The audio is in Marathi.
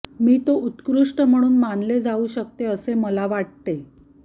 मी तो उत्कृष्ट म्हणून मानले जाऊ शकते असे मला वाटते